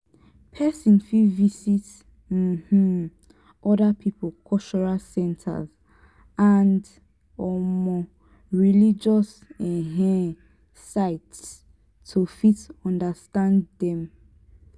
person fit visit um oda pipo cultural centers and um religious um sites to fit understand dem